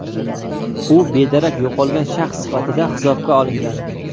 U bedarak yo‘qolgan shaxs sifatida hisobga olingan.